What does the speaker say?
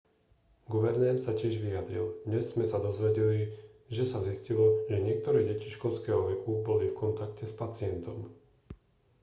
guvernér sa tiež vyjadril dnes sme sa dozvedeli že sa zistilo že niektoré deti školského veku boli v kontakte s pacientom